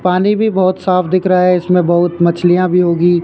पानी भी बहुत साफ दिख रहा है इसमें बहुत मछलियां भी होगी।